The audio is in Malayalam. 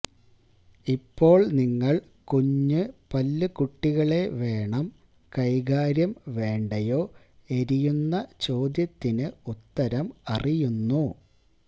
ഇപ്പോൾ നിങ്ങൾ കുഞ്ഞ് പല്ലു കുട്ടികളെ വേണം കൈകാര്യം വേണ്ടയോ എരിയുന്ന ചോദ്യത്തിന് ഉത്തരം അറിയുന്നു